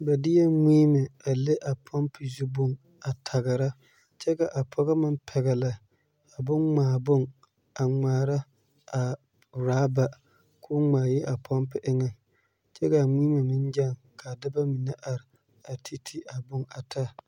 Ba deɛ mie a le a pumpi zu bon a tagera kyɛ ka a pɔge meŋ pɛgele a bon ŋmaa bon a ŋmaara a raaba kɔɔ ŋmaa yi a pumpi eŋ kyɛ kaa mie meŋ gaŋ kaa dɔba mine ti ti a bon a taa